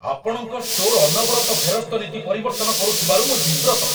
ଆପଣଙ୍କ ଷ୍ଟୋର ଅନବରତ ଫେରସ୍ତ ନୀତି ପରିବର୍ତ୍ତନ କରୁଥିବାରୁ ମୁଁ ବିବ୍ରତ।